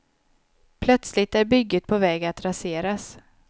Plötsligt är bygget på väg att raseras.